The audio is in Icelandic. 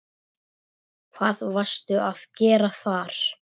Hvað varstu að gera þar?